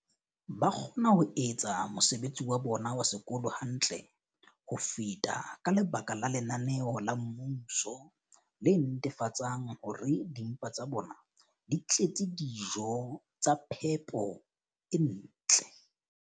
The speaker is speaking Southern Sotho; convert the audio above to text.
ba kgona ho etsa mosebetsi wa bona wa sekolo hantle ho feta ka lebaka la lenaneo la mmuso le netefatsang hore dimpa tsa bona di tletse dijo tsa phepo e ntle.